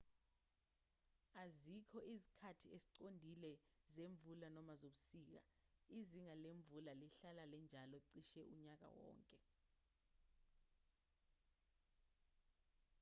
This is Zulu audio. azikho izikhathi eziqondile zemvula noma zobusika izinga lemvula lihlala linjalo cishe unyaka wonke